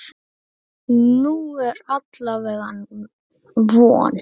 Nú er alla vega von.